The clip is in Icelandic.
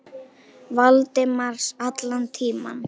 Valdimars allan tímann.